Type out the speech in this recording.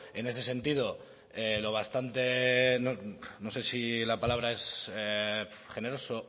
en ese sentido lo bastante no sé si la palabra es generoso o